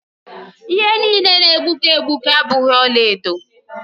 Ihe niile na-egbuke egbuke abụghị ọlaedo.